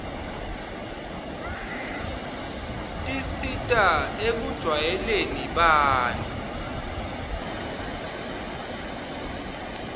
tisita ekujwayeleni bantfu